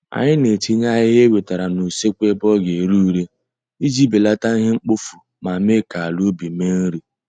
Anyị na-etinye ahịhịa e wetere n'useekwu ebe ọ ga ere ure iji belata ihe mkpofu ma mee ka ala ubi mee nri